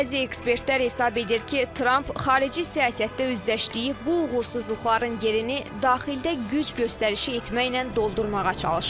Bəzi ekspertlər hesab edir ki, Tramp xarici siyasətdə üzdələşdiyi bu uğursuzluqların yerini daxildə güc göstərişi etməklə doldurmağa çalışır.